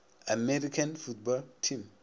american football team